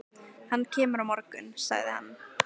Hann kemur á morgun, sagði hann.